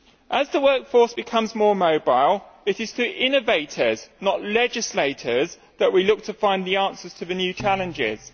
As the workforce becomes more mobile, it is to innovators not legislators that we look to find the answers to the new challenges.